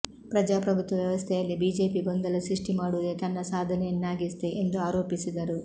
ಪ್ರಜಾಪ್ರಭುತ್ವ ವ್ಯವಸ್ಥೆಯಲ್ಲಿ ಬಿಜೆಪಿ ಗೊಂದಲ ಸೃಷ್ಟಿ ಮಾಡುವುದೇ ತನ್ನ ಸಾಧನೆಯನ್ನಾಗಿಸಿದೆ ಎಂದು ಆರೋಪಿಸಿದರು